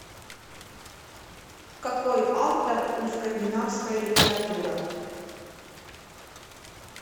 какой автор у скандинавская литература